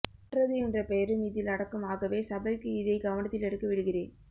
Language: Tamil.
மற்றது என்ற பெயரும் இதில் அடக்கம் ஆகவே சபைக்கு இதை கவனத்தில் எடுக்க விடுகிறேன்